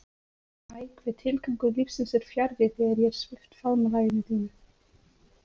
Æ hve tilgangur lífsins er fjarri þegar ég er svipt faðmlaginu þínu.